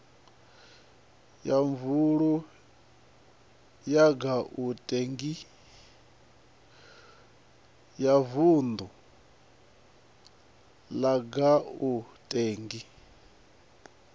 ya vundu la gauteng i